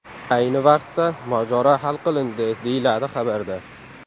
Ayni vaqtda mojaro hal qilindi”, deyiladi xabarda.